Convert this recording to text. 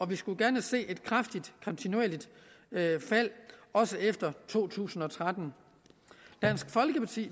vi skulle gerne se et kraftigt kontinuerligt fald også efter to tusind og tretten dansk folkeparti